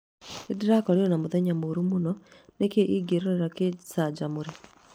Nĩ ndĩrakorire na mũthenya mũũru mũno. Nĩ kĩĩ ingĩrorera ngĩcanjamũre